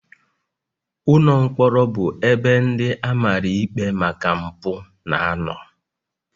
Ụlọ mkpọrọ bụ ebe ndị a mara ikpe maka mpụ na-anọ